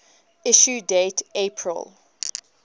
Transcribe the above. issue date april